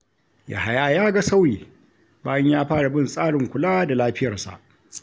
Yahaya ya ga sauyi bayan ya fara bin tsarin kula da lafiyarsa.